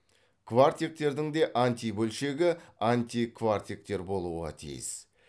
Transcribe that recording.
кварктектердің де антибөлшегі антикварктектер болуға тиіс